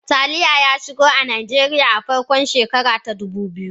Taliya ya shigo Najeriya a farkon shekara ta dubu biyu.